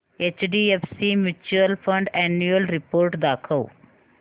HDFC mutual fund annual report दाखव